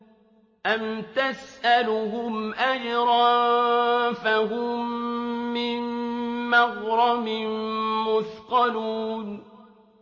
أَمْ تَسْأَلُهُمْ أَجْرًا فَهُم مِّن مَّغْرَمٍ مُّثْقَلُونَ